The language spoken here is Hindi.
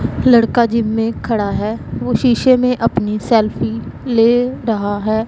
लड़का जिम में खड़ा है वो शीशे में अपनी सेल्फी ले रहा है।